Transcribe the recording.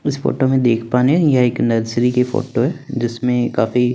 इस फोटो में देखा पा रहे हैं यह एक नर्सरी की फोटो है जिसमें काफी--